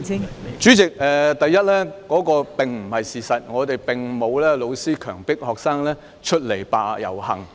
代理主席，第一，這並非事實，並沒有教師強迫學生出來遊行。